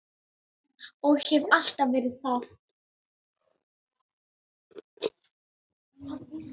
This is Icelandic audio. Og hef alltaf verið það.